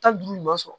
Tan duuru ɲuman sɔrɔ